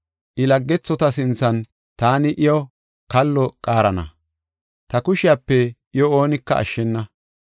I laggethota sinthan taani I kalluwa qaarana; ta kushiyape iyo oonika ashshena.